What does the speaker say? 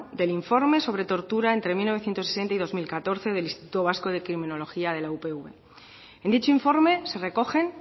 del informe sobre tortura entre mil novecientos sesenta y dos mil catorce del instituto vasco de criminología de la upv en dicho informe se recogen